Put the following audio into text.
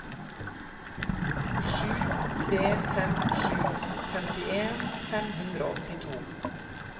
sju tre fem sju femtien fem hundre og åttito